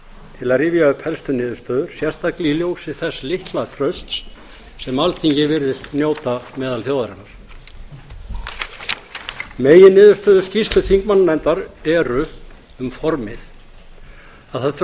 til að rifja upp helstu niðurstöður sérstaklega í ljósi þess litla trausts sem alþingi virðist njóta meðal þjóðarinnar meginniðurstöður skýrslu þingmannanefndar eru um formið að það þurfi að